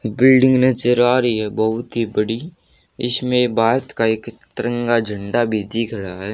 Building नजर आ रही है बहुत ही बड़ी इसमें बात का एक तिरंगा झंडा भी दिख रहा है।